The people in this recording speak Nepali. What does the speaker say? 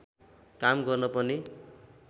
काम गर्न पनि